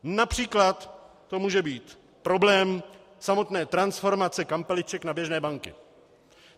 Například to může být problém samotné transformace kampeliček na běžné banky.